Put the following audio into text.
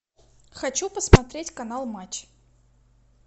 хочу посмотреть канал матч